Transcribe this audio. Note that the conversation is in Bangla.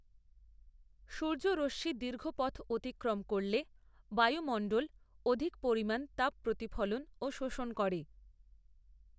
সূর্যরশ্মি দীর্ঘপথ অতিক্রম করলে বায়ুমণ্ডল অধিক পরিমাণ তাপ প্রতিফলন ও শোষণ করে।